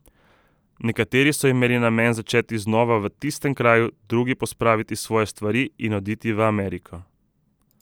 Nekateri so imeli namen začeti znova v tistem kraju, drugi pospraviti svoje stvari in oditi v Ameriko.